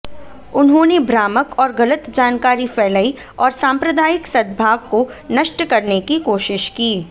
उन्होंने भ्रामक और गलत जानकारी फैलाई और सांप्रदायिक सद्भाव को नष्ट करने की कोशिश की